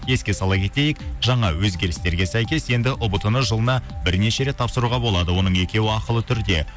еске сала кетейік жаңа өзгерістерге сәйкес енді ұбт ны жылына бірнеше рет тапсыруға болады оның екеуі ақылы түрде